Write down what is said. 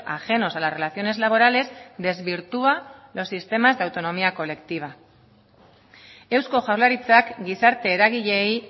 ajenos a las relaciones laborales desvirtúa los sistemas de autonomía colectiva eusko jaurlaritzak gizarte eragileei